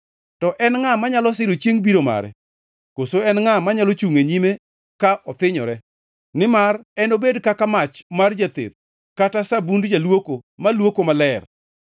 To en ngʼa manyalo siro chiengʼ biro mare? Koso en ngʼa manyalo chungʼ e nyime ka othinyore? Nimar enobed kaka mach mar jatheth kata sabund jaluoko malwoko maler.